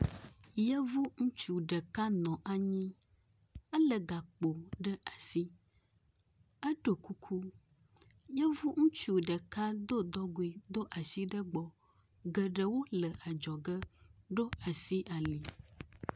Yevu ŋutsu ɖeka nɔ anyi, elé gakpo ɖe asi, eɖo kuku, yevu ŋutsu ɖeka do dɔgoe, ɖo asi egbɔ. Geɖewo le adzɔge ɖo asi ali.